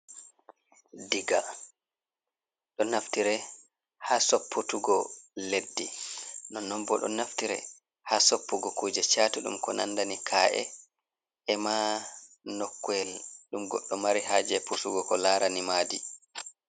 Diga don naftire ha sopputugo leddi ,nonnon bo don naftire ha soppugo kuje chatudum ko nandani ka’e ema nokuel dum goɗdo mari ha je pusugo ko larani madi.